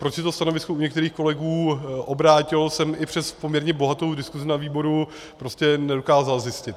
Proč se to stanovisko u některých kolegů obrátilo, jsem i přes poměrně bohatou diskusi na výboru prostě nedokázal zjistit.